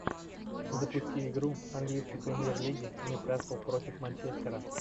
запусти игру английской премьер лиги ньюкасл против манчестера